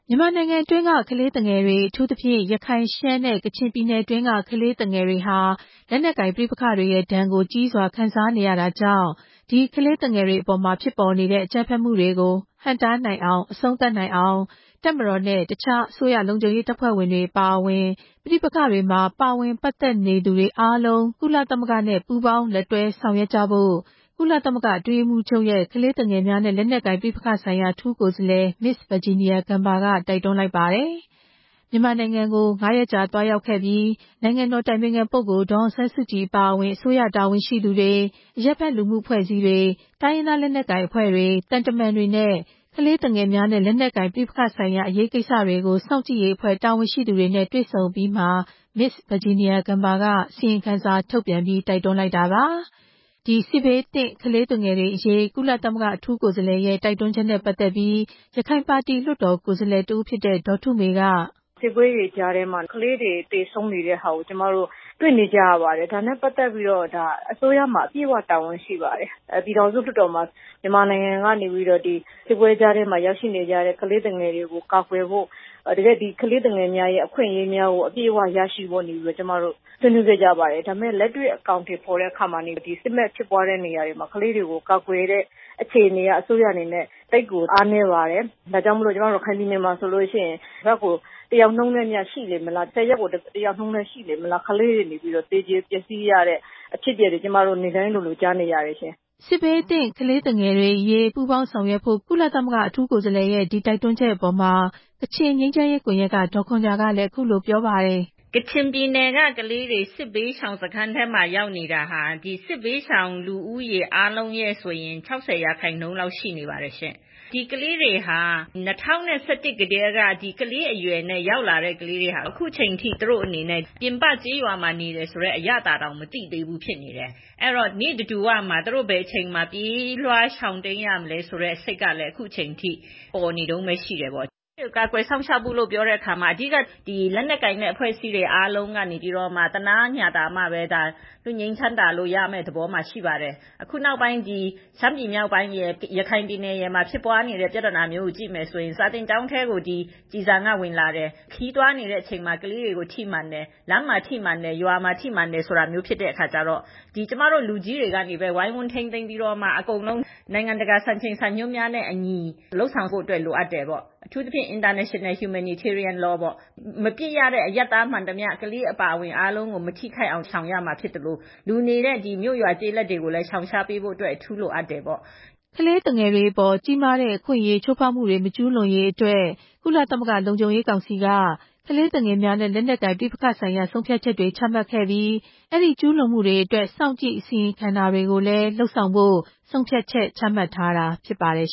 မြန်မာနိုင်ငံတွင်းက ကလေးသူငယ်တွေ အထူးသဖြင့် လက်နက်ကိုင်ပဋိပက္ခတွေဖြစ်ပွားနေတဲ့ ရခိုင်၊ ရှမ်း နဲ့ ကချင်ပြည်နယ်တွင်းက ကလေးသူငယ်တွေဟာ စစ်ရဲ့ဒဏ်ကို ကြီးမားစွာခံစားနေရတာကြောင့် ကလေးသူငယ်တွေအပေါ်ကျရောက်နေတဲ့ အကြမ်းဖက်မှုတွေကို ဟန့်တားနိုင်ရေး တပ်မတော်နဲ့ တခြားအစိုးရလုံခြုံရေးတပ်ဖွဲ့တွေအပါအဝင် ပဋိပက္ခတွေမှာ ပါဝင်သူတွေအားလုံး ကုလသမဂ္ဂနဲ့ ပူးပေါင်းဆောင်ရွက်ကြဖို့ ကုလသမဂ္ဂအတွင်းရေးမှူးချုပ်ရဲ့ ကလေးသူငယ်နဲ့ လက်နက်ကိုင်ပဋိပက္ခဆိုင်ရာ အထူးကိုယ်စားလှယ် Ms.Virginia Gamba က တိုက်တွန်းလိုက်ပါတယ်။ မြန်မာနိုင်ငံကို ငါးရက်ကြာသွားရောက်ပြီး နိုင်ငံတော်အတိုင်ပင်ခံပုဂ္ဂိုလ် ဒေါ်အောင်ဆန်းစုကြည်အပါအဝင် အစိုးရတာဝန်ရှိသူတွေ၊ တိုင်းရင်းသားလက်နက်ကိုင်အဖွဲ့အစည်းတွေ၊ အရပ်ဘက်လူမှုအဖွဲ့အစည်းတွေ၊ ကလေးသူငယ်များ နဲ့ လက်နက်ကိုင်ပဋိပက္ခစောင့်ကြည့်ရေးတာဝန်ရှိသူတွေနဲ့ တွေ့ဆုံအပြီးမှာ မနေ့က ကြေညာချက်ထုတ်ပြန်ပြီး တိုက်တွန်းလိုက်တာပါ။ ကုလသမဂ္ဂအထူးကိုယ်စားလှယ်က ဒီလိုတိုက်တွန်းတာနဲ့ပတ်သက်ပြီး ရခိုင်လွှတ်တော်ကိုယ်စားလှယ်ဒေါ်ထုမေက..... “ စစ်ပွဲတွေကြားမှာ ကလေးတွေသေဆုံးနေရတာကို ကျမတို့တွေ့နေကြရပါတယ်။ ဒါနဲ့ပတ်သက်ပြီး အစိုးရမှာ အပြည့်အဝတာဝန်ရှိတယ်။ ပြည်ထောင်စုလွှတ်တော်မှာ ကျမတို့ ဒီစစ်ပွဲကြားက ကလေးသူငယ်တွေကို အကာအကွယ်ပေးဖို့ တကယ့် ကလေးသူငယ်အခွင့်အရေးအပြည့်အဝရဖို့ ဆွေးနွေးခဲ့ကြပါတယ်။ ဒါပေမဲ့ တကယ်တမ်း အကောင်အထည်ဖော်တဲ့နေရာမှာ စစ်မက်ဖြစ်ပွားတဲ့နေရာတွေက ကလေးတွေကို အကာအကွယ်ပေးဖို့နေရာမှာ အစိုးရက အားနည်းချက်တွေအများကြီးရှိပါတယ်။ ကျမတို့ ရခိုင်မှာဆိုရင် တပတ်တယောက် ဆယ်ရက်တယောက်နှုန်း ကလေးတွေသေကြေပျက်စီးရတာ နေ့စဉ်လိုလိုကြားနေရတယ်” လို့ ပြောပါတယ်။ စစ်ဘေးသင့် ကလေးငယ်တွေအရေး ပူးပေါင်းဆောင်ရွက်ဖို့ ကုလအထူးကိုယ်စားလှယ်ရဲ့ပြောကြားချက်အပေါ် ကချင်ငြိမ်းချမ်းရေးကွန်ရက်က ဒေါ်ခွန်ဂျာကလည်း... “ ကချင်ပြည်နယ်က ကလေးတွေ စစ်ဘေးရှောင်စခန်းကိုရောက်နေတာ စစ်ဘေးရှောင်လူဦးရေ ရဲ့ ၆ဝ ရာခိုင်နှုန်းရှိတယ်။ ဒီကလေးတွေဟာ ၂၀၁၁ ထဲက ကလေးဘဝထဲကရောက်နေတာ ခုချိန်ထိ ပြင်ပကျေးရွာမှာ နေတယ်ဆိုတဲ့ အရသာတောင် မသိသေးဘူးဖြစ်နေတယ်။ ခုထိ ဘယ်အချိန်ပြေးလွှားရှောင်တိမ်းရဦးမလဲဆိုတဲ့ စိတ်ကလဲ ခုချိန်ထိပေါ်နေတုန်းဘဲရှိတယ်။ ကလေးတွေကို ကာကွယ်စောင့်ရှောက်ဖို့က လက်နက်ကိုင်အားလုံး သနားညှာတာမှပဲ လွတ်ငြိမ်းချမ်းသာရမယ့် သဘောရှိပါတယ်။ စာသင်ကျောင်းထဲ ကျည်ဆံဝင်တယ်။ ခရီးသွားတဲ့အချိန် ကလေးတွေထိမှန်တယ်။ လမ်းမှာထိတယ်။ ရွာမှာထိမှန်တယ်ဆိုတော့... ကျမတို့လူကြီးတွေက အားလုံးထိန်းသိမ်းပြီးတော့ နိုင်ငံတကာစံချိန်စံညွှန်းနဲ့အညီ လုပ်ဆောင်ဖို့လိုအပ်တယ်။ မပစ်ရတဲ့ အရပ်သားမှန်သမျှ ကလေးအပါအဝင်... အားလုံးကို မထိခိုက်အောင်ရှောင်ရမှာဖြစ်သလို လူနေတဲ့ မြို့ ရွာ ကျေးလက်တွေကိုလဲ ရှောင်ရှားဖို့ လိုအပ်တယ်ပေါ့” လို့ ပြောပါတယ်။ အရွယ်မရောက်သေးတဲ့ ကလေးငယ်တွေအပေါ် ကြီးမားတဲ့အခွင့်အရေးချိုးဖောက်မှုတွေ မကျူးလွန်ရေးအတွက် ကုလသမဂ္ဂလုံခြုံရေးကောင်စီက ကလေးသူငယ်များနဲ့ လက်နက်ကိုင်ပဋိပက္ခဆိုင်ရာ ဆုံးဖြတ်ချက်တွေချမှတ်ခဲ့ပြီး ဒီကျူးလွန်မှုတွေကို စောင့်ကြည့်အစီရင်ခံတာတွေလည်း ပြုလုပ်ဖို့ ဆုံးဖြတ်ချက်ချမှတ်ထားတာ ဖြစ်ပါတယ်